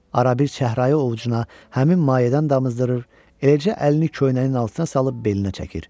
Arabir çəhrayı ovucuna həmin mayedən damızdırır, eləcə əlini köynəyinin altına salıb belinə çəkir.